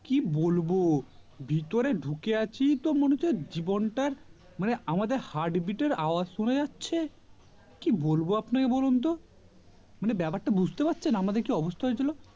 কি বলবো ভিতরে ঢুকে আছি তো মনে হচ্ছে জীবনটা মানে আমাদের heart beat র আওয়াজ শোনা যাচ্ছে কি বলবো আপনাকে বলুন তো মানে ব্যাপারটা বুজতে পারছেন আমাদের কি অবস্থা হয়েছিল